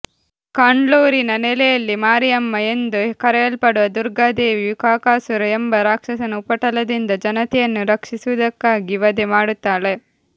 ಕಂಡ್ಲೂರಿನ ನೆಲೆಯಲ್ಲಿ ಮಾರಿಯಮ್ಮ ಎಂದು ಕರೆಯಲ್ಪಡುವ ದುರ್ಗಾದೇವಿ ಕಾಕಾಸುರ ಎಂಬ ರಾಕ್ಷಸನ ಉಪಟಳದಿಂದ ಜನತೆಯನ್ನು ರಕ್ಷಿಸುವುದಕ್ಕಾಗಿ ವಧೆ ಮಾಡುತ್ತಾಳೆ